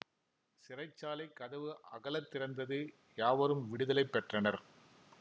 சிறைச்சாலைக் கதவு அகலத் திறந்தது யாவரும் விடுதலை பெற்றனர்